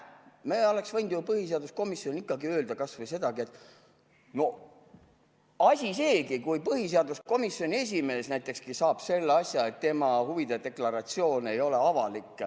Me oleksime võinud põhiseaduskomisjonis ikkagi öelda kas või sedagi, et no asi seegi, kui põhiseaduskomisjoni esimees näiteks saab selle, et tema huvide deklaratsioon ei ole avalik.